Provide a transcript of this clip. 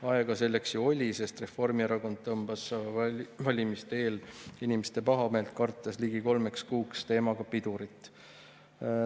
Aega selleks ju oli, sest Reformierakond tõmbas valimiste eel inimeste pahameelt kartes ligi kolmeks kuuks teemaga pidurit.